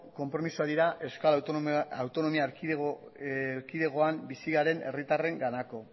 konpromisoak dira euskal autonomia erkidegoan bizi garen herritarrenganako